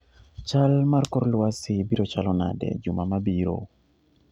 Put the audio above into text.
chal mar kor lwasi biro chalo nade juma ma biro